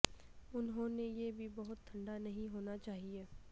انہوں نے یہ بھی بہت ٹھنڈا نہیں ہونا چاہئے